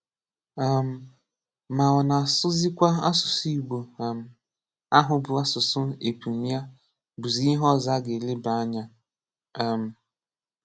um Mà ọ̀ ná-àsụ̀zíkwà àsụsụ̀ Igbó um áhụ bụ̀ àsụsụ̀ épùṃ yá bụ̀zị́ ìhè ọ̀zọ̀ a gà-élèbà ánya. um